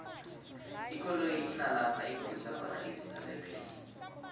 ikoloyi inalapho ikhombisa khona izinga lebelo